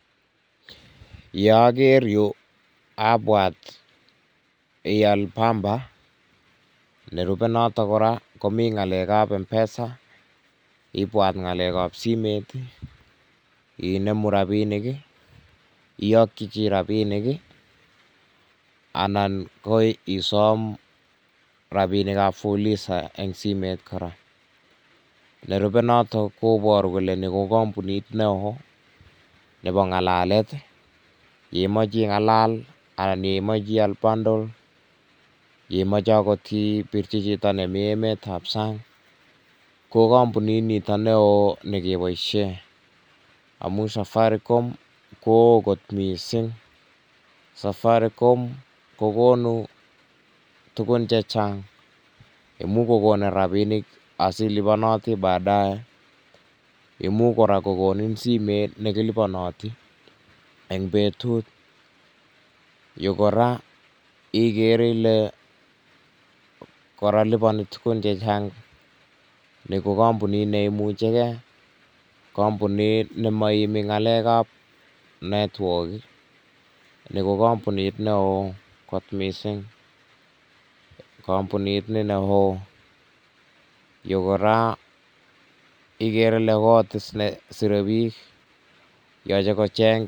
Ye aker yu abwat iyal bamba, nerube notok kora komi ngalekab mpesa, ibwat ngalekab simet ii, inemu rabinik ii, iyokyi jii rabinik ii, ana ko isom rabinik ab fuliza eng simet kora, nerube notok koboru kole nee ko kambunit neoo nebo ngalalet, ye imoche ingalal anan ye imoche iyal bundle, ye imoche akot ibirji jito nemi emet ab sang, ko kambunit nito neoo nekiboisien amun safaricom ko oo kot mising, safaricom ko konu tukun chechang, imuch kokonin rabinik asilibonoti baadaye imuch kora kokonin simet nekilibonoti eng betut, Yu kora ikere Ile kora liboni tukun jechang, nii ko kambunit ne imucheke, kambunit ne moiimi ngalekab network Ii nii ko kambunit neoo kot mising, kambunit ni neoo, yu kora ikere ile kot nesire bik yoche kocheng.